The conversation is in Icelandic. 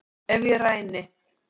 Ef ég ræni